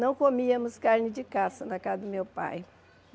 Não comíamos carne de caça na casa do meu pai.